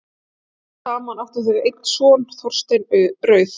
Saman áttu þau einn son, Þorstein rauð.